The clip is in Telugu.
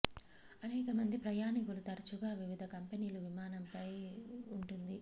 అనేక మంది ప్రయాణికులు తరచుగా వివిధ కంపెనీలు విమానం ఫ్లై ఉంటుంది